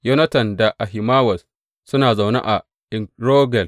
Yonatan da Ahimawaz suna zaune a En Rogel.